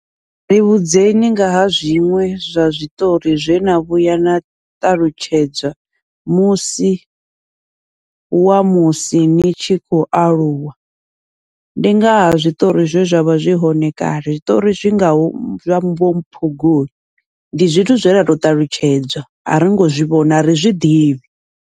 Ri vhudzekani ngaha zwiṅwe zwa zwiṱori zwena vhuya na ṱalutshedzwa musi wa musi ni tshi khou aluwa, ndi ngaha zwiṱori zwe zwavha zwi hone kale zwiṱori zwi ngaho vho phongoli ndi zwithu zwe ra tou ṱalutshedzwa a ringo zwivhona ari zwiḓivhi.